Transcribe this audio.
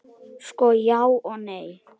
Sko, já og nei.